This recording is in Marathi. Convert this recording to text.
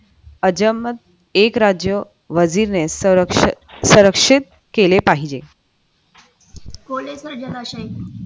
अजमत एक राज्य वजीर ने संरक्षण सुरक्षित केले पाहिजे